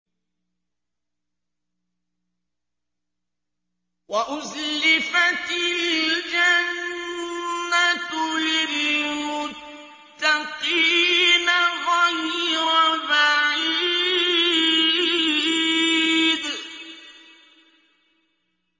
وَأُزْلِفَتِ الْجَنَّةُ لِلْمُتَّقِينَ غَيْرَ بَعِيدٍ